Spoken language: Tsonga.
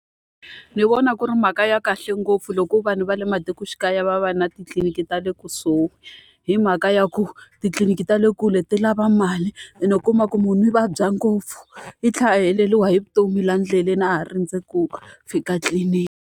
Ni vona ku ri mhaka ya kahle ngopfu loko vanhu va le matikoxikaya va va na titliliniki ta le kusuhi. Hi mhaka ya ku titliliniki ta le kule ti lava mali, ene u kuma ku munhu u vabya ngopfu. i thlela a heleriwa hi vutomi laha ndleleni a ha rindze ku fika tliliniki.